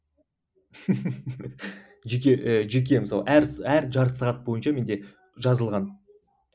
жеке жеке мысалы әр әр жарты сағат бойынша менде жазылған